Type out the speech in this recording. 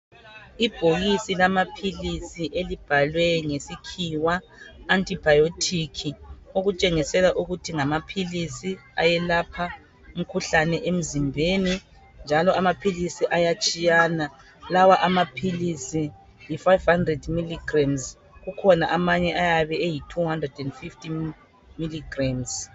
Ibhokisi lamaphilisi elibhalwe ngesikhiwa'Antibiotic" okutshengisela ukuthi ngamaphilisi ayelapha umkhuhlane emzimbeni njalo amaphilisi ayatshiyana. Lawa amaphilisi yi"500mg".Kukhona amanye ayabe eyi"250mg'.